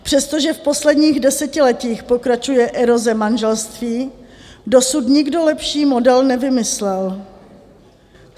Přestože v posledních desetiletích pokračuje eroze manželství, dosud nikdo lepší model nevymyslel.